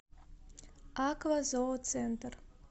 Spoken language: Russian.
аква зооцентр